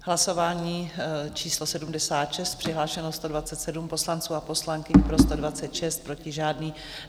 Hlasování číslo 76, přihlášeno 127 poslanců a poslankyň, pro 126, proti žádný.